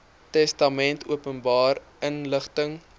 testamente openbare inligting